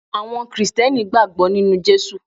Àwọn Krìsìtẹ́nì gbàgbọ́ nínu Jésù